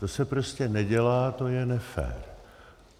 To se prostě nedělá, to je nefér.